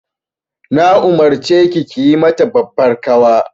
Na umarce ki yi mata babbar ƙawa.